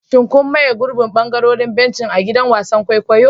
Shin kun maye gurbin ɓangarorin benci a gidan wasan kwaikwayo?